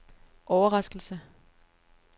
overraskelse